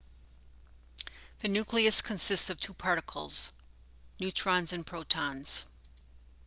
the nucleus consists of two particles neutrons and protons